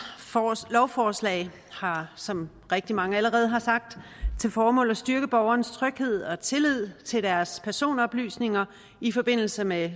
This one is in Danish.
lovforslag har som rigtig mange allerede har sagt til formål at styrke borgernes tryghed og tillid i forhold til deres personoplysninger i forbindelse med